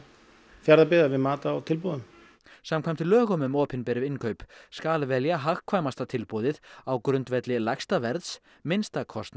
Fjarðabyggðar við mat á tilboðum samkvæmt lögum um opinber innkaup skal velja hagkvæmasta tilboðið á grundvelli lægsta verðs minnsta kostnaðar